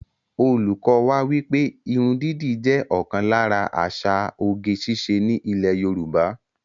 Olùkọ́ wá wípé irun dídì jẹ́ ọ̀kan lára àṣà oge ṣíṣe ní ilè Yorùbá